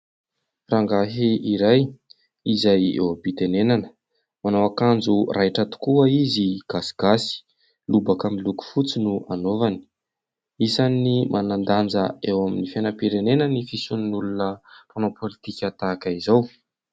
Rangahy iray izay eo am-pitenenana, manao akanjo raitra tokoa izy gasigasy : lobaka miloko fotsy no anaovany isan'ny manandanja eo amin'ny fianam-pirenena ny fisian'ny olona manao politika tahaka izao.